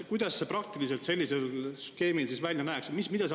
Kuidas see praktiliselt sellise skeemi puhul siis välja näeks?